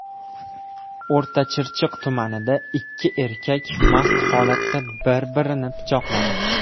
O‘rtachirchiq tumanida ikki erkak mast holatda bir-birini pichoqladi.